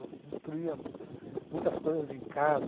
Eu destruía muitas coisas em casa.